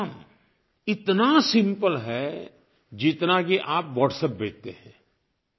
और ये काम इतना सिम्पल है जितना कि आप WhatsApp भेजते हैं